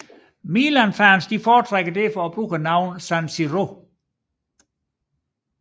Milanfans foretrækker derfor at bruge navnet San Siro